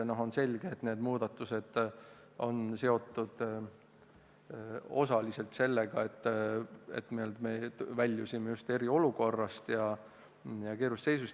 Aga on selge, et need muudatused on seotud osaliselt sellega, et me väljusime äsja eriolukorrast, väga keerulisest seisust.